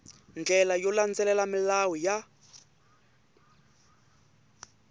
ndlela yo landzelela milawu ya